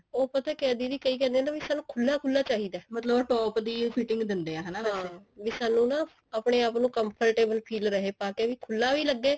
ਉਹ ਪਤਾ ਕਿਆ ਐ ਦੀਦੀ ਕਈ ਕਹਿੰਦੇ ਐ ਨਾ ਵੀ ਸਾਨੂੰ ਖੁੱਲਾ ਖੁੱਲਾ ਚਾਹੀਦਾ ਮਤਲਬ top ਦੀ ਉਹ fitting ਦਿੰਦੇ ਐ ਹਨਾ ਵੈਸੇ ਵੀ ਸਾਨੂੰ ਨਾ ਆਪਨੇ ਆਪ ਨੂੰ comfortable feel ਰਹੇ ਪਾਕੇ ਵੀ ਖੁੱਲਾ ਵੀ ਲੱਗੇ